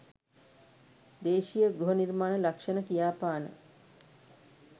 දේශීය ගෘහ නිර්මාණ ලක්ෂණ කියාපාන